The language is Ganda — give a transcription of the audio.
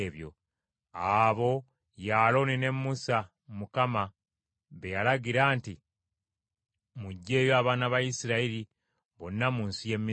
Abo ye Alooni ne Musa Mukama be yalagira nti, “Muggyeeyo abaana ba Isirayiri bonna mu nsi y’e Misiri.”